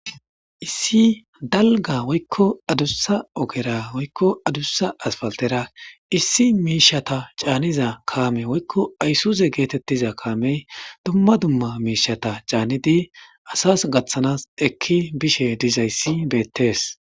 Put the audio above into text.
Issi daliga woyikko adussa ogera woyikko adussa asipalitera issi mishsheta canizza kame woyikko ayisuze getettiza kameyi dumma dumma mishshata canidi asasi gaththanas eki be'ishshe dizayiss betees.